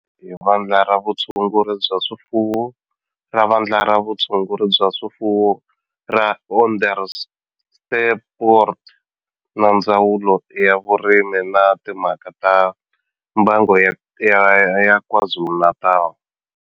Xi kandziyisiwe hi Vandla ra Vutshunguri bya swifuwo ra Vandla ra Vutshunguri bya swifuwo ra Onderstepoort na Ndzawulo ya Vurimi na Timhaka ta Mbango ya KwaZulu-Natal.